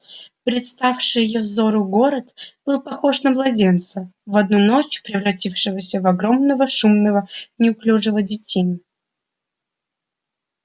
представший её взору город был похож на младенца в одну ночь превратившегося в огромного шумного неуклюжего детину